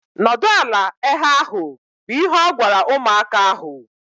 Nọdụ ala ehe ahu! Bụ ihe o gwara ụmụaka ahu!